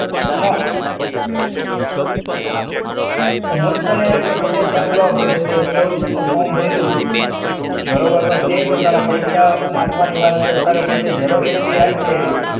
ના. હુંજ તને એક દાખલો આપું કે તારી scholarship નું form ભૈરુ છે, બરોબર તો ક્યાંય પણ તારા પૈસા નાખવાની વાત ચાલે તારી Xerox એટલી આછી આવે